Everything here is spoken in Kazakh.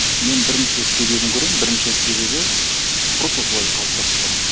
мен бірнеше себібін көремін бірінші себебі просто солай қалыптасып қалған